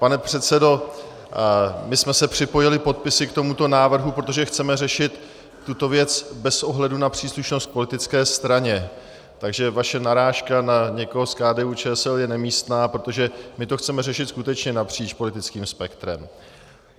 Pane předsedo, my jsme se připojili podpisy k tomuto návrhu, protože chceme řešit tuto věc bez ohledu na příslušnost k politické straně, takže vaše narážka na někoho z KDU-ČSL je nemístná, protože my to chceme řešit skutečně napříč politickým spektrem.